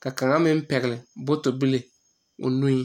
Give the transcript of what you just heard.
kyɛ ka kaŋ meŋ pɛgle bɔtɔlee o nu pʋɔ.